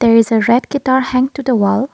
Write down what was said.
there is a red guitar hang to the wall.